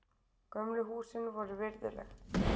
Gömlu húsin voru virðuleg.